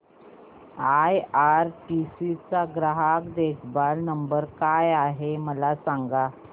IRCTC चा ग्राहक देखभाल नंबर काय आहे मला सांग